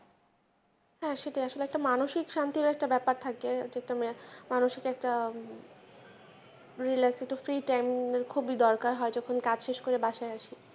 হ্যাঁ সেটাই আসলে মানসিক শান্তির একটা ব্যাপার থাকে যেটা মানসিক একটা free time খুবই দরকার হয় যখন কাজ শেষ করে বাসায় আসি।